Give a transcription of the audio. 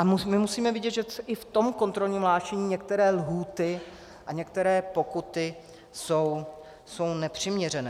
A my musíme vidět, že i v tom kontrolním hlášení některé lhůty a některé pokuty jsou nepřiměřené.